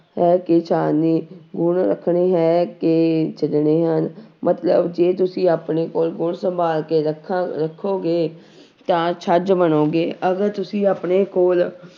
ਹੈ ਕਿ ਛਾਨਣੀ ਗੁਣ ਰੱਖਣੇ ਹੈ ਕਿ ਛੱਡਣੇ ਹਨ, ਮਤਲਬ ਜੇ ਤੁਸੀਂ ਆਪਣੇ ਕੋਲ ਗੁਣ ਸੰਭਾਲ ਕੇ ਰੱਖਾਂ ਰੱਖੋਗੇ ਤਾਂ ਛੱਜ ਬਣੋਗੇ ਅਗਰ ਤੁਸੀਂ ਆਪਣੇ ਕੋਲ